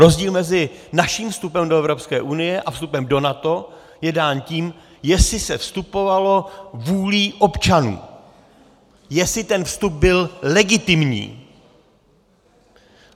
Rozdíl mezi naším vstupem do EU a vstupem do NATO je dán tím, jestli se vstupovalo vůlí občanů, jestli ten vstup byl legitimní.